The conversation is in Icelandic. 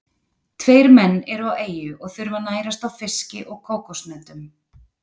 Tveir menn eru á eyju og þurfa að nærast á fiski og kókoshnetum.